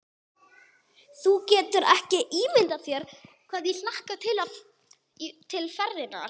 Þú getur ekki ímyndað þér hvað ég hlakka til ferðarinnar.